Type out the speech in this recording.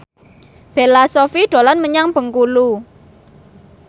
Bella Shofie dolan menyang Bengkulu